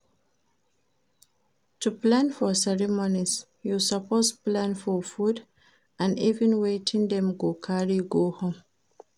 To plan for ceremonies you suppose plan for food and even wetin dem go carry go home